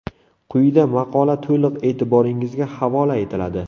Quyida maqola to‘liq e’tirboringizga havola etiladi.